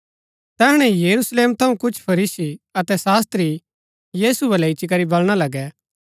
तैहणै यरूशलेम थऊँ कुछ फरीसी अतै शास्त्री यीशु बलै इच्ची करी बलणा लगै